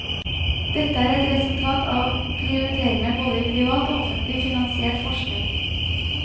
Dette er et resultat av prioriteringene både i privat og offentlig finansiert forskning.